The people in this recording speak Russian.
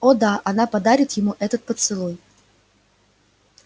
о да она подарит ему этот поцелуй